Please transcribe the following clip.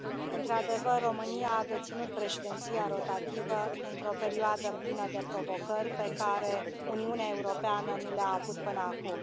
Într adevăr, România a deținut președinția rotativă într o perioadă plină de provocări, pe care Uniunea Europeană nu le a avut până acum.